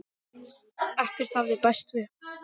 Ekkert hafði bæst við.